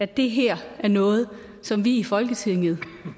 det her er noget som vi i folketinget